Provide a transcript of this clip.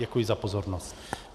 Děkuji za pozornost.